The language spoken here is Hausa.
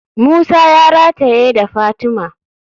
Musa ya rataye da fatima.